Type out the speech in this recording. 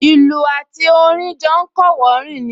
Ìlù àti orin jọ ń kọ́wọ̀ọ́rìn ni